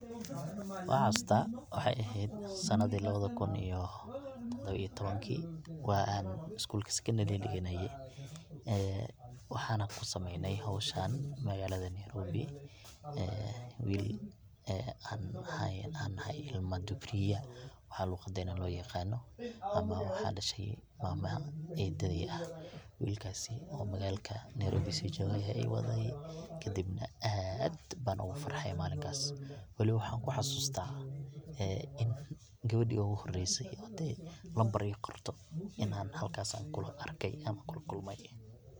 Wan xaasusta waxay ehed sanadi labadii kun iyo todoba iyo tabnki wa an isgulka sekondari dhiganaye ee waxana kusameeyne howshan magalada nairobi, wil an aheyn ilma dubriya waxaa luqadena loo yaqaano ama waxaa dhashay mama eedadey ah, wilkaasi oo magalka nairobi sii joge aya iwaday kadibna aad ban ogu farxay malinkaas welibo waxan kuxasusta in gawedhi ogu horeysa oo dee nambar ii qorto inan halkaas anku arkay an kula kulmay.